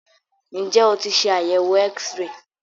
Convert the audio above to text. Ǹjẹ́ o tí ṣe àyẹ̀wò X-ray?